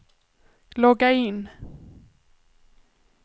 logga in